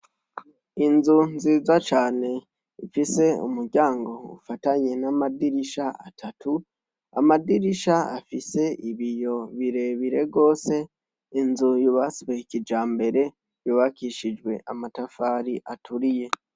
Inzu nziza cane ifise umuryango ufatanye n'amadirisha atatu; amadirisha afise ibiyo birebire rwose. Inzu yubaswe kijambere, yubakishijwe amatafari aturiye.